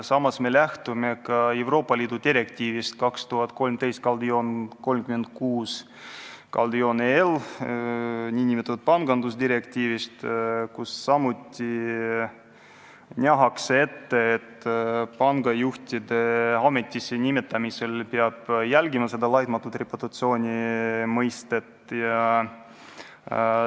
Samas me lähtume ka Euroopa Liidu direktiivist 2013/36/EL, nn pangandusdirektiivist, kus samuti nähakse ette, et pangajuhtide ametisse nimetamisel peab arvestama laitmatu reputatsiooni kriteeriumi.